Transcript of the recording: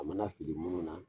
A mana fili minnu na